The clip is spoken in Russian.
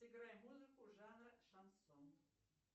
сыграй музыку жанра шансон